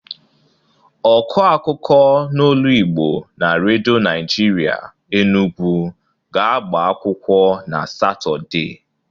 Ọkụ akụkụ n'olu Igbo na redo Naịjịrịa Enugwu ga-agbakwụkwọ na Satọde.